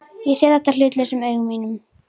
Ég sé þetta hlutlausum augum mínum.